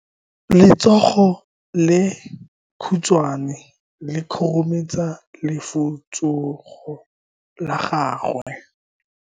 Letsogo le lekhutshwane le khurumetsa lesufutsogo la gago.